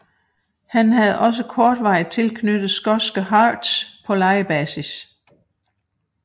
Han havde også kortvarigt tilknyttet skotske Hearts på lejebasis